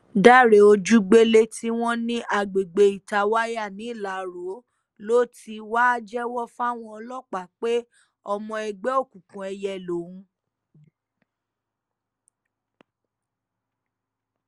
dáre ojúgbélé tí wọ́n ní àgbègbè itawaya nìlárò ló ti wá jẹ́wọ́ fáwọn ọlọ́pàá pé ọmọ ẹgbẹ́ òkùnkùn èìyẹ lòun